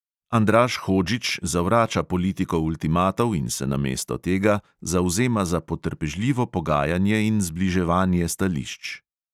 Andraž hodžić zavrača politiko ultimatov in se namesto tega zavzema za potrpežljivo pogajanje in zbliževanje stališč.